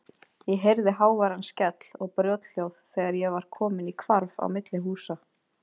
Ég heyrði háværan skell og brothljóð þegar ég var kominn í hvarf á milli húsa.